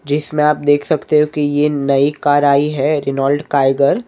जिसमें आप देख सकते हो कि ये नई कार आई हैं रेनॉल्ड काइगर --